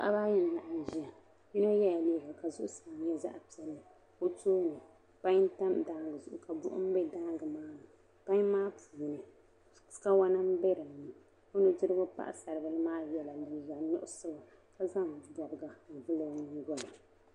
Paɣaba ayi nʒɛya yinɔ yela liiga ka so turaza zaɣi piɛli bɛ tooni pain n tam daangi zuɣu ka buɣum be daangi maa ni pain maa puuni kawana n beni ɔ ni dirigu paɣi saribili maa yela liiga nuɣuso ka zaŋ gabi n vuli ɔ nyiŋgolini.